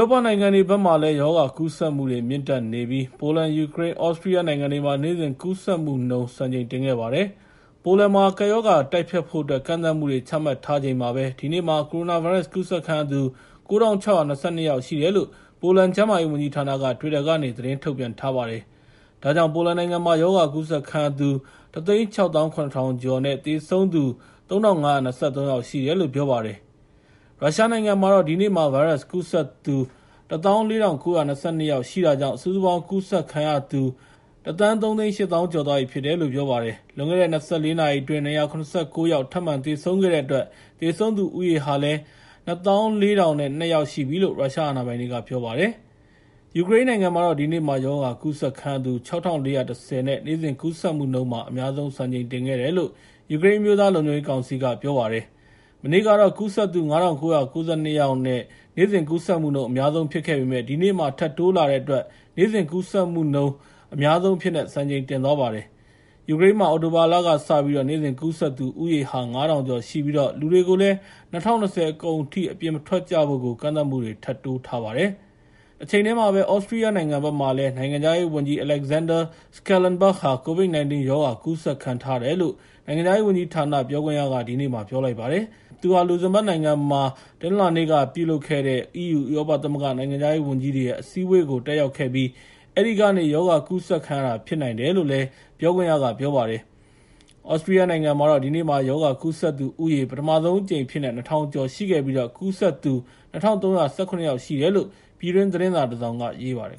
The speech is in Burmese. ောပနိုင်ငံတွေဘက်မှာ ရောဂါကူးစက်မှုတွေ မြင့်တက်ခဲ့ပြီး ပိုလန်၊ ယူကရိန်းနဲ့ သြစတြီးယားနိုင်ငံမှာတော့ နေ့စဉ်ကူးစက်မှုနှုန်းမှာ စံချိန်တင်ခဲ့ပါတယ်။ ပိုလန်မှာ ကပ်ရောဂါကို တိုက်ဖျက်ဖို့အတွက် ကန့်သတ်မှုတွေ ချမှတ်ထားနေချိန်မှာပဲ ဒီနေ့မှာ ကိုရိုနာဗိုင်းရပ်စ် ကူးစက်ခံရသူ ၉,၆၂၂ ယောက်ရှိတယ်လို့ ပိုလန်ကျန်းမာရေးဝန်ကြီးဌာနက တွစ်တာကနေ သတင်းထုတ်ပြန်ထားပါတယ်။ ဒါကြောင့် ပိုလန်နိုင်ငံမှာ ရောဂါကူးစက်ခံရသူ ၁၆၇,၀၀၀ ကျော်နဲ့ သေဆုံးသူ ၃,၅၂၃ ယောက်ရှိတယ်လို့ ပြောပါတယ်။ ရုရှားနိုင်ငံမှာတော့ ဒီနေ့မှာ ဗိုင်းရပ်စ်ကူးစက်သူ ၁၄,၉၂၂ ယောက်ရှိတာကြောင့် စုစုပေါင်း ရောဂါကူးစက်ခံရသူ ၁,၃၈၀,၀၀၀ ကျော်သွားပြီလို့ ပြောပါတယ်။ ဒ့ါအပြင် လွန်ခဲ့တဲ့ ၂၄ နာရီအတွင်း ၂၇၉ ယောက် ထပ်မံသေဆုံးခဲ့တဲ့အတွက် သေဆုံးသူဦးရေ ၂၄,၀၀၂ ယောက်ရှိပြီလို့ ရုရှားအာဏာပိုင်တွေက ပြောပါတယ်။ ယူကရိန်းနိုင်ငံမှာတော့ ဒီနေ့မှာ ရောဂါကူးစက်ခံရသူ ၆,၄၁၀ နဲ့ နေ့စဉ်ကူးစက်မှုမှာ အများဆုံး စံချိန်တင်ခဲ့တယ်လို့ ယူကရိန်း အမျိုးသားလုံခြုံရေးကောင်စီက ပြောလိုက်ပါတယ်။ မနေ့ကတော့ ကူးစက်သူ ၅,၉၉၂ နဲ့ နေ့စဉ်ကူးစက်မှု အများဆုံး ဖြစ်ခဲ့ပေမယ့် ဒီနေ့မှာ ထပ်တိုးလာတဲ့အတွက် နေ့စဉ်ကူးစက်မှုမှာ အများဆုံးဖြစ်သွားပါတယ်။ ယူကရိန်းမှာ အခု အောက်တိုဘာလကစပြီး နေ့စဉ်ကူးစက်သူ ဦးရေဟာ ၅,၀၀၀ ကျော်ရှိပြီး လူတွေကိုလည်း ၂၀၂၀ အကုန်ထိ အပြင်မထွက်ကြဖို့ ကန့်သတ်မှုတွေ ထပ်တိုးလိုက်ပါတယ်။ တချိန်တည်းမှာပဲ သြစတြီးယားနိုင်ငံဘက်မှာလည်း နိုင်ငံခြားရေးဝန်ကြီး Alexander Schallenberg COVID-19 ရောဂါ ကူးစက်ခံထားရတယ်လို့ နိုင်ငံခြားရေးဝန်ကြီးဌာန ပြောခွင့်ရက ဒီနေ့ပြောပါတယ်။ သူဟာ လူဇင်ဘတ်နိုင်ငံမှာ တနင်္လာနေ့ကလုပ်တဲ့ EU ဥရောပသမဂ္ဂ နိုင်ငံခြားရေးဝန်ကြီးတွေရဲ့ အစည်းအဝေးကို တက်ရောက်ခဲ့ပြီး အဲဒီကနေ ရောဂါကူးစက်ခံရတာ ဖြစ်နိုင်တယ်လို့လည်း ပြောပါတယ်။ သြစတြီးယားနိုင်ငံမှာတော့ ဒီနေ့မှာ ရောဂါကူးစက်သူဦးရေဟာ ပထမဆုံးအကြိမ်အဖြစ်နဲ့ ၂,၀၀၀ ကျော်ရှိခဲ့ပြီး ကူးစက်သူ ၂,၃၁၇ ယောက် ရှိတယ်လို့ ပြည်တွင်းသတင်းစာတစောင်က ရေးပါတယ်